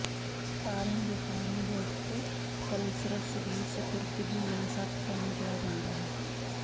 ਤਾਰਿਆਂ ਦੇ ਤਾਰਿਆਂ ਦਾ ਇਕ ਕਲਸ੍ਰਸ ਵੀ ਸਪੁਰਦਗੀ ਜਾਂ ਸੱਤ ਭੈਣਾਂ ਕਿਹਾ ਜਾਂਦਾ ਹੈ